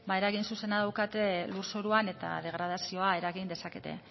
eragin zuzena daukate lurzoruan eta degradazioa eragin dezakete